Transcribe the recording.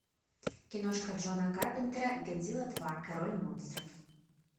киношка джона карпентера годзилла два король монстров